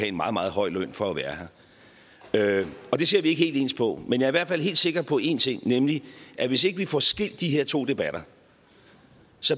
en meget meget høj løn for at være her det ser vi ikke helt ens på men jeg er hvert fald helt sikker på en ting nemlig at hvis ikke vi får skilt de her to debatter